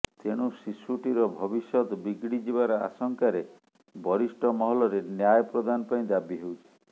ତେଣୁ ଶିଶୁଟିର ଭବିଷ୍ୟତ ବିଗିଡ଼ିଯିବାର ଆଶଙ୍କାରେ ବରିଷ୍ଠ ମହଲରେ ନ୍ୟାୟ ପ୍ରଦାନ ପାଇଁ ଦାବି ହେଉଛି